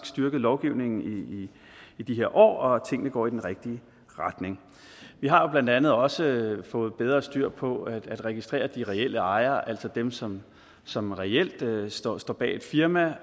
styrket lovgivningen i de her år og tingene går i den rigtige retning vi har jo blandt andet også fået bedre styr på at registrere de reelle ejere altså dem som som reelt står står bag et firma